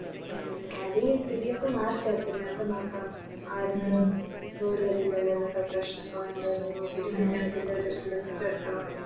ഉം ആദ്യായി സ്ഥിതിയൊക്കെ മാറട്ടെ പ്പോ നമുക്ക് നോക്കാം ആർക്ക് പ്രശ്നോക്കെ ഉണ്ടോന്ന് നോക്കിറ്റ് പിന്നതിൻറെ ഒര് List എടുക്കണം